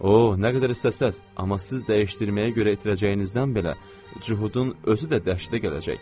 O, nə qədər istəsəz, amma siz dəyişdirməyə görə itirəcəyinizdən belə cuhudun özü də dəhşətə gələcək.